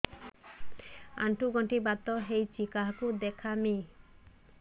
ଆଣ୍ଠୁ ଗଣ୍ଠି ବାତ ହେଇଚି କାହାକୁ ଦେଖାମି